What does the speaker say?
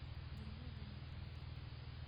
Ngĩigua mbu maita matatũ.